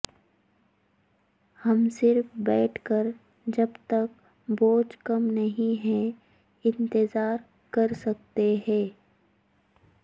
ہم صرف بیٹھ کر جب تک بوجھ کم نہیں ہے انتظار کر سکتے ہیں